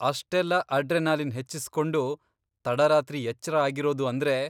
ಅಷ್ಟೆಲ್ಲ ಅಡ್ರೆನಲಿನ್ ಹೆಚ್ಚಿಸ್ಕೊಂಡು ತಡರಾತ್ರಿ ಎಚ್ರ ಆಗಿರೋದು ಅಂದ್ರೆ.